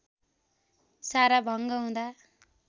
साराभङ्ग हुँदा